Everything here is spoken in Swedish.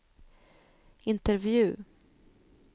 intervju